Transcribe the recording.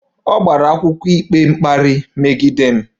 Ọ gbara akwụkwọ ikpe mkparị megide m